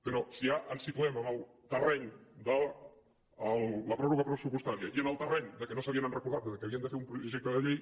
però si ja ens situem en el terreny de la pròrroga pressupostària i en el terreny que no s’havien recordat que havien de fer un projecte de llei